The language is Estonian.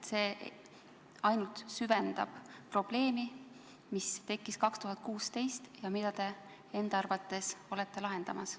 See ainult süvendab probleemi, mis tekkis 2016 ja mida te enda arvates suudate lahendada.